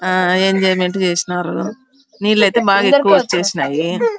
ఆహ్ ఎంజోయ్మెంట్ చేసినారు నీళ్లు ఐతే బాగా ఎక్కువ వచేసినాయి.